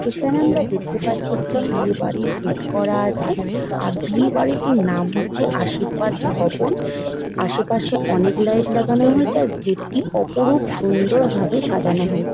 এখানে আমরা দেখতে পারছি একটি বিয়ে বাড়ির গেট করা আছে। আর বিয়ে বাড়িটির নাম হচ্ছে আশীর্বাদ ভবন । আশেপাশে অনেক লাইট লাগানো হয়েছে। আর গেট -টি অপরূপ সুন্দর ভাবে সাজানো হয়ে--